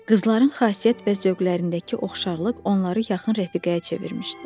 Qızların xasiyyət və zövqlərindəki oxşarlıq onları yaxın rəfiqəyə çevirmişdi.